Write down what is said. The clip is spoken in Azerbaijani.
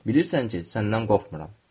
Bilirsən ki, səndən qorxmuram.